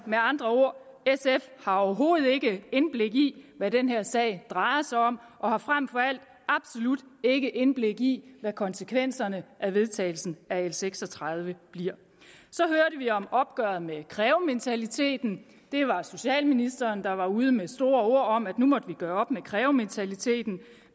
med andre ord overhovedet ikke indblik i hvad den her sag drejer sig om og har frem for alt absolut ikke indblik i hvad konsekvenserne af vedtagelsen af l seks og tredive bliver så hørte vi om opgøret med krævementaliteten det var socialministeren der var ude med store ord om at nu måtte vi gøre op med krævementaliteten